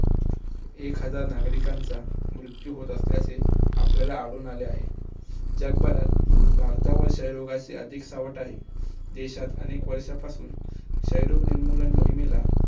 एक हजार नागरिकांचा मृत्यू होत असल्याचे आपल्याला अधून आलेले आहे. जगभरात भारतावर क्षय रोगाचे अधिक सावंत आहे. देशात अनेक वर्ष्यापासून क्षयरोग निर्मूलन मोहिमेला